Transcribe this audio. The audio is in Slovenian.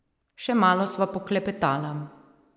Še malo sva poklepetala.